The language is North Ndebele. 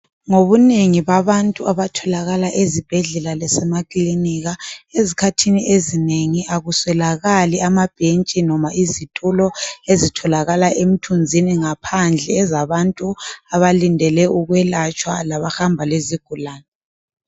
Ngobunengi babantu abatholakala ezibhedlela lasemakilinika. Ezikhathini ezinengi akuswelakali amabhentshi noma izitulo ezitholakala emithunzini, ngaphandle ezabantu abalindele ukwelatshwa labahamba lezigulane.